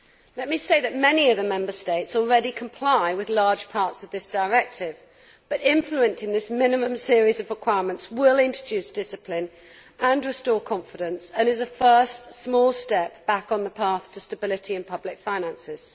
Let me say that many of the Member States already comply with large parts of this directive, but implementing this minimum series of requirements will introduce discipline and restore confidence, and is a first small step back on the path to stability in public finances.